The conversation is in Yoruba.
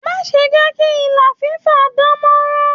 Rùlà máa n jẹ kí ìlà fifa dàn mọ́ràn.